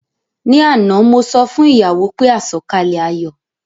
Ní àná mo sọ fún ìyàwó pé àsọ̀kalẹ̀ ayọ̀